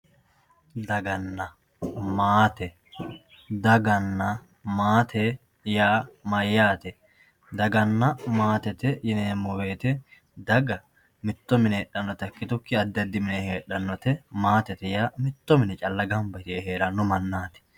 Dagana maate, dagana maate yaa mayyate, dagana maatete yineemmo woyte daga mitto mine heedhanotta ikkitukkinni addi addi mine heedhanote ,maatete yaa mitto mine calla heedhanote.